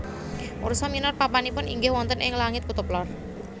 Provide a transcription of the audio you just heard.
Ursa minor papanipun inggih wonten ing langit kutub lor